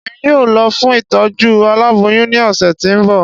Èmí yóò lọ fún Ìtọ́jú aláboyún ni ọsẹ ti o n bọ